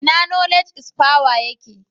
Ina Knowledge is power yake?